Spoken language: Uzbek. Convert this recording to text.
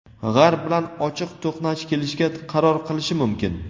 G‘arb bilan ochiq to‘qnash kelishga qaror qilishi mumkin.